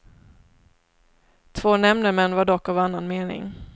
Två nämndemän var dock av annan mening.